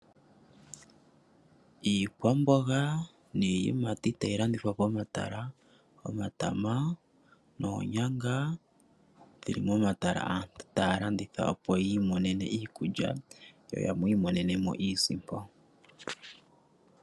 Iikwamboga niiyimati tayi landithwa pomatala. Omatama noonyanga dhili momatala aantu taa landitha opo yiimonene iikulya yo yamwe yi imonene mo iisimpo.